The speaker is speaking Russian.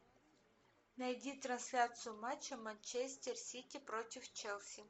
найди трансляцию матча манчестер сити против челси